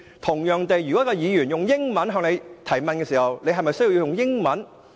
同樣地，如果一位議員以英語向你提問，你是否需要以英語回應？